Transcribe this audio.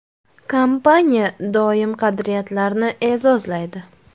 Kompaniya doimo qadriyatlarni e’zozlaydi.